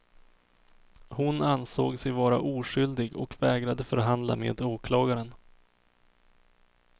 Hon ansåg sig vara oskyldig och vägrade förhandla med åklagaren.